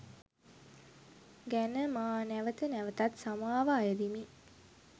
ගැන මා නැවත නැවතත් සමාව අයදිමි.